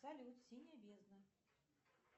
салют синяя бездна